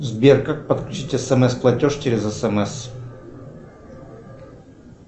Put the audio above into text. сбер как подключить смс платеж через смс